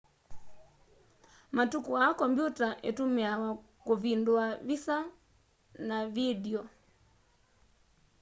matuku aa kompyuta itumiawa kuvindua visa na vindio